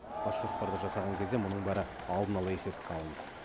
бас жоспарды жасаған кезде мұның бәрі алдын ала есепке алынды